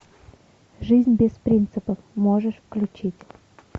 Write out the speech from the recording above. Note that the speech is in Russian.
жизнь без принципов можешь включить